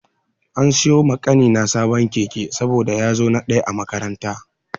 An siyo ma ƙanina sabon keke saboda ya zo na ɗaya a makaranta.